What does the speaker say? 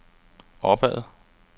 opad